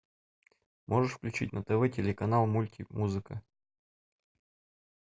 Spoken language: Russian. можешь включить на тв телеканал мульти музыка